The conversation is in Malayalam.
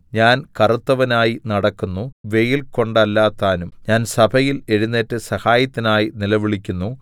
ഞാൻ കറുത്തവനായി നടക്കുന്നു വെയിൽ കൊണ്ടല്ലതാനും ഞാൻ സഭയിൽ എഴുന്നേറ്റ് സഹായത്തിനായി നിലവിളിക്കുന്നു